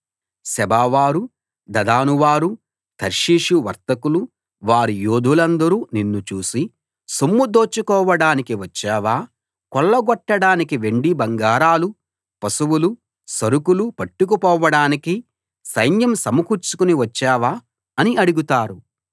సెబావారు దదానువారు తర్షీషు వర్తకులు వారి యోధులందరు నిన్ను చూసి సొమ్ము దోచుకోడానికి వచ్చావా కొల్లగొట్టడానికీ వెండి బంగారాలు పశువులు సరుకులు పట్టుకుపోడానికీ సైన్యం సమకూర్చుకుని వచ్చావా అని అడుగుతారు